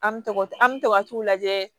An me tugu an mɛ to ka t'u lajɛ